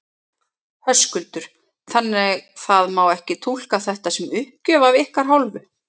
Höskuldur: Þannig það má ekki túlka þetta sem uppgjöf af ykkar hálfu?